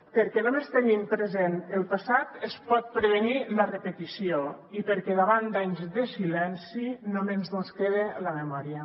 perquè només tenint present el passat es pot prevenir la repetició i perquè davant d’anys de silenci només mos queda la memòria